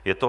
Je to